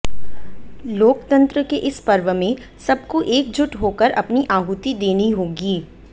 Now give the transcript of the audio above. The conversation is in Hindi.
लोकतंत्र के इस पर्व में सबको एकजुट होकर अपनी आहुति देनी होगी